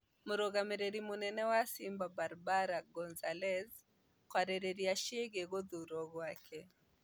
Mũrũgamĩrĩri mũnene wa Simba Barbara Gonzalez kwarĩrĩria ciĩgiĩ gũthurwo gwake